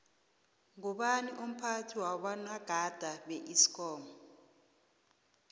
ngubani umphathi wabonagada beesikomu